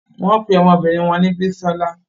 Wón pe ọmọbinrin wọn ni Bisola